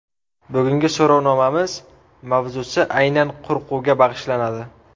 Bugungi so‘rovnomamiz mavzusi aynan qo‘rquvga bag‘ishlanadi.